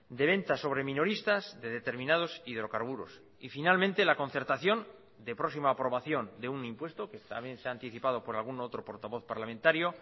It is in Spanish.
de ventas sobre minoristas de determinados hidrocarburos y finalmente la concertación de próxima aprobación de un impuesto que también se ha anticipado por algún otro portavoz parlamentario